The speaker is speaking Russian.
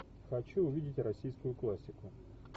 хочу увидеть российскую классику